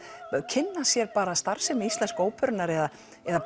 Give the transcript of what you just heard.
kynna sér starfsemi Íslensku óperunnar eða eða